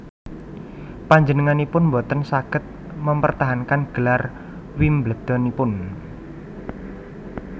Panjenenganipun boten saged mempertahankan gelar Wimbledon ipun